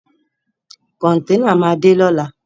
Kọ̀ntẹ́nà máa dé lóla.